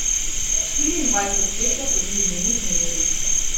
Štiriindvajset let je prebil v njenih nedrjih.